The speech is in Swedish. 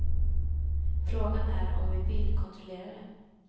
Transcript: Frågan är om vi vill kontrollera det.